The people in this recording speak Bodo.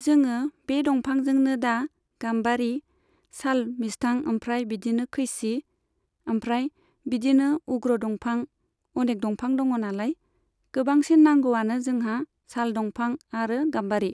जोङो बे दंफांजोंनो दा गाम्बारि, साल, मिस्थां आमफ्राय बिदिनो खैसि, आमफ्राय बिदिनो उग्र दंफां अनेक दंफां दङनालाय, गोबांसिन नांगौआनो जोंहा साल दंफां आरो गाम्बारि।